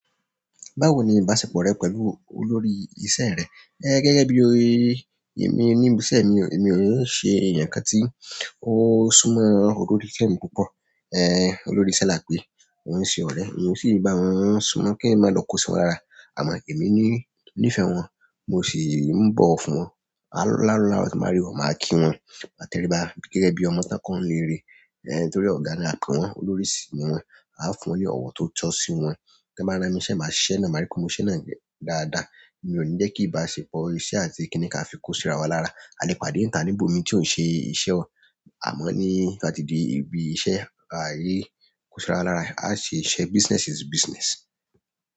Bawoni ìbáṣepọ̀ re pẹ̀lú olórí iṣẹ́ re, gẹ́gẹ́ bi, nibi iṣẹ́ mi o emi o ṣe eeyankan ti o súnmọ́ olórí iṣẹ́ mi púpọ̀ olórí iṣe lápẹ́, ko ń ṣe ọ̀rẹ́, èmi sì ń bá wọn súnmọ́ kí èeyan máa lọ kó sí ara, àmọ́ èmi ní nífẹ̀ẹ́ wọn, mo sì ń bọ̀wọ̀ fún wọn. Láro laarọ tí n bàá rí wọn, màá kí wọn, máa tẹríba gẹ́gẹ́ bí ọmọ tí wọ́n kọ́ ni iléèrè. Nítorí ọ̀gá ni a pe wọn náà olórí si ni wọn a o fún wọn ni ọwọ ti o tọ si wọn ti won ba rán mi niṣẹ́, màá ṣe iṣẹ́ náà, màá rí pé mo ṣe iṣẹ́ náà dáadáa. Mi ò ní jẹ́ kí ìbáṣepọ̀ iṣẹ́ àti kíní kà fi kó síra wa lára. A le pàdé nibo mi ti o ti o ṣe iṣẹ́ o, àwọn ti o ba ti di ibi iṣẹ́. A ṣe iṣẹ́, business is business.